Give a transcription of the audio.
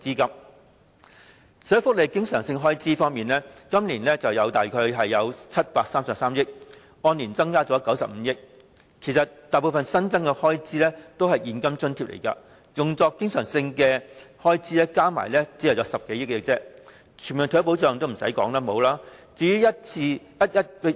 在社會福利經常性開支方面，今年的預算約有733億元，按年增加了95億元，但大部分新增開支其實是現金津貼，用作經常性開支的只有合共10多億元。